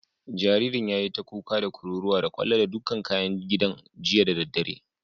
Jaririn yayi ta kuka, da kururuwa, da kwallo da dukan kayan gidan jiya da daddare.